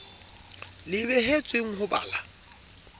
le behetsweng ho ba la